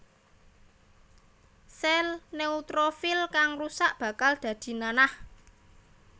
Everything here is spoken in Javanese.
Sèl neutrofil kang rusak bakal dadi nanah